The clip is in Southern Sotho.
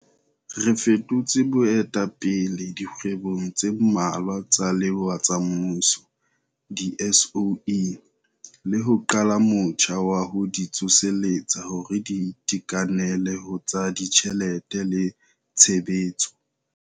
Re fetotse boetapele dikgwebong tse mmalwa tsa lewa tsa mmuso, di-SOE, le ho qala motjha wa ho di tsoseletsa hore di itekanele ho tsa ditjhelete le tshebetso.